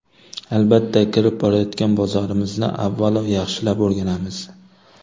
Albatta, kirib borayotgan bozorimizni avvalo, yaxshilab o‘rganamiz.